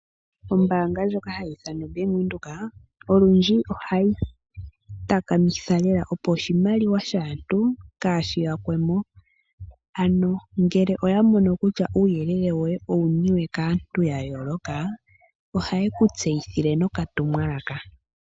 Ombaanga ndjoka hayi ithanwa o mBank Widhoek olundji ohayi takamitha lela opo oshimaliwa shaantu kaashi yakwemo. Ano ngele oya mono kutya uuyelele woye owuniwe kaantu ya yooloka, ohaye ku tseyithile no katumwalaka.